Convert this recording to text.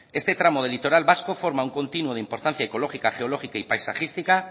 este tramo del litoral vasco forma un continuo de importancia ecológica geológica y paisajística